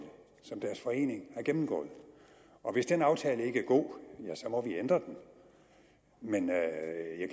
som deres forening har gennemgået og hvis den aftale ikke er god ja så må vi ændre den men